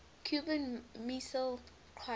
cuban missile crisis